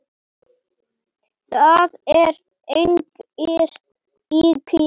Það eru engar ýkjur.